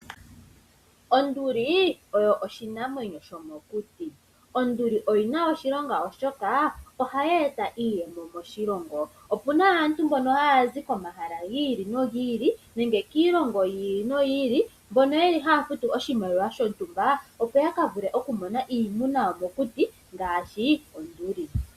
Onduli oyo oshinamwenyo shomokuti. Onduli oyina oshilonga, oshoka ohayi eta iiyemo moshilongo . Opuna aantu mbono haya zi komahala giili nogiili nenge kiilongo yiili noyili, mbono yeli haya futu oshimaliwa shontumba opo yakavule okumona iimuna yomokuti ngaashi onduli.